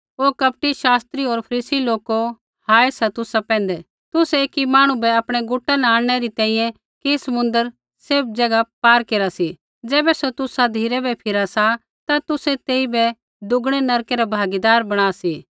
ओ कपटी शास्त्री होर फरीसी लोको हाय सा तुसा पैंधै तुसै एकी मांहणु बै आपणै मता न आंणनै री तैंईंयैं कि समुन्द्र सैभ ज़ैगा पार केरा सी ज़ैबै सौ तुसा धिराबै फिरा सा ता तुसै तेइबै दुगणै नरकै रै भागीदार बणा सी